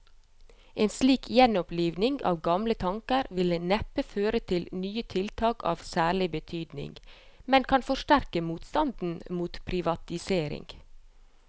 En slik gjenoppliving av gamle tanker vil neppe føre til nye tiltak av særlig betydning, men kan forsterke motstanden mot privatisering.